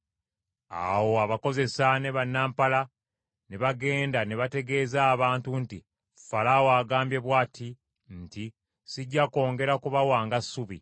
Awo abakozesa ne bannampala ne bagenda ne bategeeza abantu nti, “Falaawo agambye bw’ati nti, ‘Sijja kwongera kubawanga ssubi.